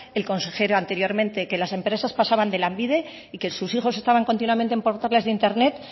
el consejero anteriormente que las empresas pasaban de lanbide y que sus hijos estaban continuamente en portales de internet